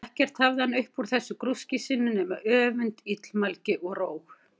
Ekkert hafði hann upp úr þessu grúski sínu nema öfund, illmælgi, og róg.